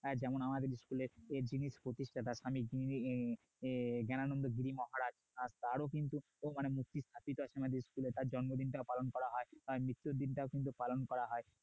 যেমন আমাদের স্কুলের যিনি প্রতিষ্ঠাতা যেমন স্বামী জ্ঞানানন্দ গিরি মহারাজ তারও কিন্তু মানে তার স্কুলে জন্মদিনটা পালন করা হয় তার মৃত্যু দিন তাও কিন্তু পালন করা হয়